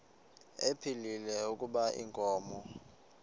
ephilile kuba inkomo